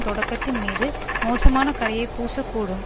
தொடக்கத்தின் மீது மோசமான கறையை பூசக் கூடும்